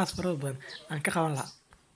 weyn lee maa wax dibaa.